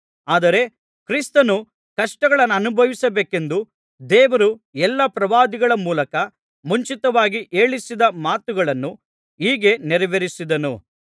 ಆದರೆ ಕ್ರಿಸ್ತನು ಕಷ್ಟಗಳನ್ನನುಭವಿಸಬೇಕೆಂದು ದೇವರು ಎಲ್ಲಾ ಪ್ರವಾದಿಗಳ ಮೂಲಕ ಮುಂಚಿತವಾಗಿ ಹೇಳಿಸಿದ ಮಾತುಗಳನ್ನು ಹೀಗೆ ನೆರವೇರಿಸಿದನು